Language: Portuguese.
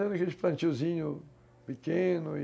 Aqueles plantiozinhos pequenos.